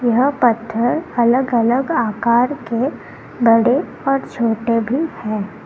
यहां पत्थर अलग अलग आकार के बड़े और छोटे भी हैं।